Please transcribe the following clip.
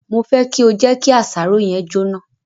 Mo fẹ kí o jẹ kí àsáró yẹn jóná.